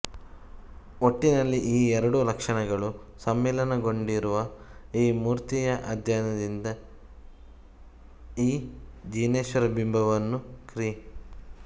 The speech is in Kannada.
ಒಟ್ಟಿನಲ್ಲಿ ಈ ಎರಡೂ ಲಕ್ಷಣಗಳು ಸಮ್ಮಿಲನಗೊಂಡಿರುವ ಈ ಮೂರ್ತಿಯ ಅಧ್ಯಯನದಿಂದ ಈ ಜಿನೇಶ್ವರ ಬಿಂಬವನ್ನು ಕ್ರಿ